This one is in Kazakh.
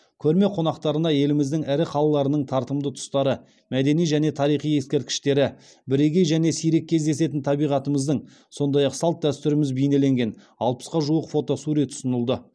көрме қонақтарына еліміздің ірі қалаларының тартымды тұстары мәдени және тарихи ескерткіштері бірегей және сирек кездесетін табиғатымыздың сондай ақ салт дәстүріміз бейнеленген алпысқа жуық фотосурет ұсынылды